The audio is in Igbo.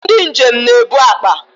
Ndị njem na-ebu akpa